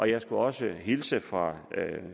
jeg skulle også hilse fra